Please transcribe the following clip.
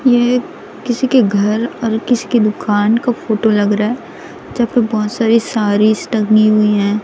यह किसी के घर और किसी की दुकान का फोटो लग रहा है यहां पे बहुत सारी सारीज टंगी हुई हैं।